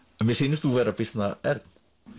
mér sýnist þú vera býsna ern